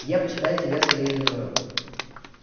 я почитаю тебя своею женою